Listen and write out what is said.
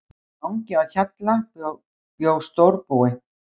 Mangi á Hjalla bjó stórbúi.